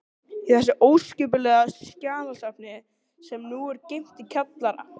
Hvar æfði landsliðið í gær?